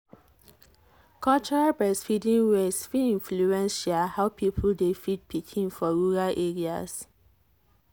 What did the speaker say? cultural breastfeeding ways fit influence um how people dey feed pikin for rural areas.